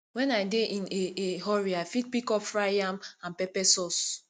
when i dey in a a hurry i fit pick up fried yam and pepper sauce